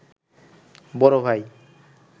বড় ভাই